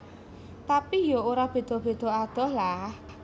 Tapi ya ora beda adoh lah